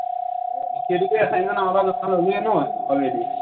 সেইটোতো assignment আমাৰ পৰা জমা ললেই নহয় already